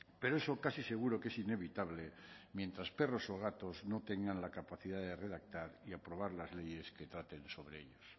pero eso casi seguro que es inevitable mientras perros o gatos no tengan la capacidad de redactar y aprobar las leyes que traten sobre ellos